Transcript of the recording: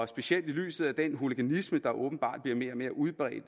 specielt i lyset af den hooliganisme der åbenbart bliver mere og mere udbredt